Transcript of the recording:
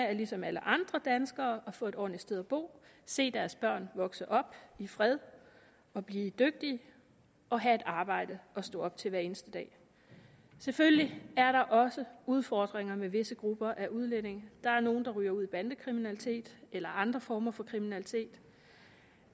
er ligesom alle andre danskeres at få et ordentligt sted at bo se deres børn vokse op i fred blive dygtige og have et arbejde at stå op til hver eneste dag selvfølgelig er der også udfordringer med visse grupper af udlændinge der er nogle der ryger ud i bandekriminalitet eller andre former for kriminalitet